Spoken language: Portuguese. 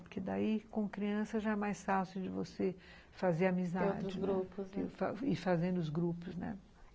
Porque daí, com criança, já é mais fácil de você fazer amizade, ir fazendo os grupos, né?